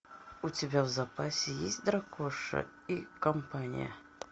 у тебя в запасе есть дракоша и компания